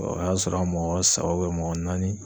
O y'a sɔrɔ an mɔgɔ saba mɔgɔ naani